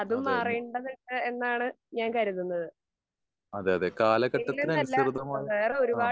അതെ. അതെ അതെ കാലഘട്ടത്തിന് അനുസൃതമായ ആഹ്.